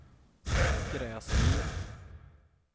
Gräsmyr